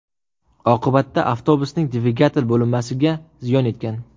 Oqibatda avtobusning dvigatel bo‘linmasiga ziyon yetgan.